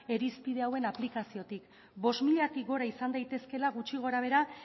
irizpide hauen aplikaziotik bost milatik gora izan daitezkeela gutxi gorabehera